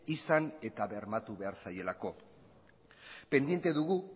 izan eta bermatu behar zaielako pendiente dugu